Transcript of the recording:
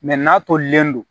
n'a tolilen don